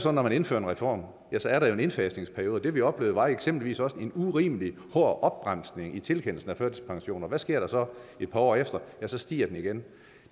at når man indfører en reform er der en indfasningsperiode det vi oplevede var eksempelvis også en urimelig hård opbremsning i tilkendelsen af førtidspensioner hvad sker der så et par år efter ja så stiger den igen